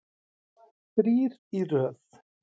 Þrír í röð.